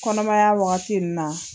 Kɔnɔmaya waagati na.